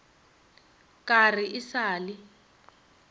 ka re e sa le